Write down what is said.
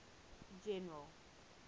general